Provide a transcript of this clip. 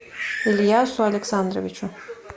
ильясу александровичу